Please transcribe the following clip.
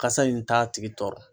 Kasa in t'a tigi tɔɔrɔ.